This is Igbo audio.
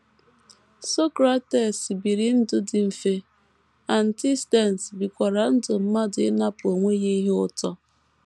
Socrates biri ndụ dị mfe, Antisthenes bikwara ndụ mmadụ ịnapụ onwe ya ihe ụtọ.